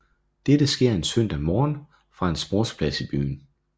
Dette skete en søndag morgen fra en sportsplads i byen